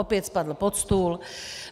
Opět spadl pod stůl.